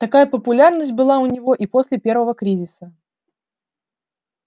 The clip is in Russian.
такая популярность была у него и после первого кризиса